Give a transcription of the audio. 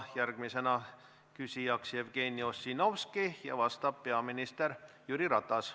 Järgmisena on küsija Jevgeni Ossinovski ja vastab peaminister Jüri Ratas.